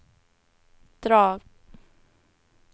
drag